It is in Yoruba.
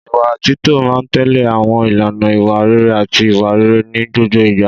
Ìwà títọ́ máa ń tẹ̀lé àwọn ìlànà ìwà rere àti ìwà rere ní gbogbo ìgbà.